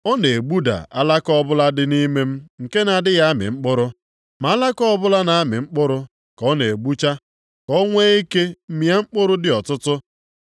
Ọ na-egbuda alaka ọbụla dị nʼime m nke na-adịghị amị mkpụrụ. Ma alaka ọbụla na-amị mkpụrụ ka ọ na-egbucha, ka o nwee ike mịa mkpụrụ dị ọtụtụ.